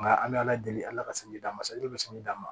Nka an bɛ ala deli ala ka san di d'an ma bɛ sɔnni d'a ma